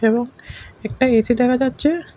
এবং একটা এ_সি দেখা যাচ্ছে।